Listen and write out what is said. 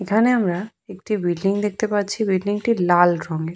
এখানে আমরা একটি বিল্ডিং দেখতে পাচ্ছি। বিল্ডিং টি লাল রঙের।